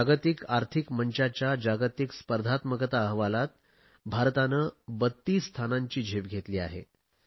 जागतिक आर्थिक मंचाच्या जागतिक स्पर्धात्मकता अहवालात भारताने 32 स्थानांची झेप घेतली आहे